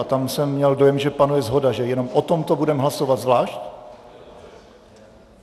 A tam jsem měl dojem, že panuje shoda, že jenom o tomto budeme hlasovat zvlášť.